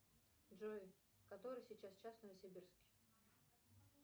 джой который сейчас час в новосибирске